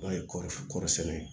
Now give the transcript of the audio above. N'o ye kɔɔri kɔɔrisɛnɛ ye